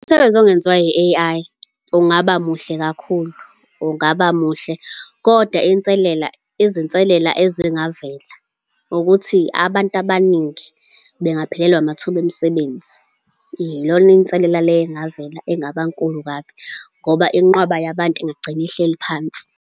Umsebenzi ongenziwa I-A_I ungaba muhle kakhulu, ungaba muhle. Kodwa inselela, izinselela ezingavela ukuthi abantu abaningi bengaphelelwa amathuba emisebenzi. Iyona inselela le engavela engaba nkulu kabi, ngoba inqwaba yabantu ingagcina ihleli phansi.